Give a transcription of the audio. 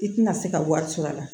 I tɛna se ka wari sɔr'a la